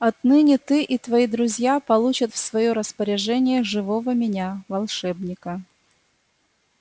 отныне ты и твои друзья получат в своё распоряжение живого меня волшебника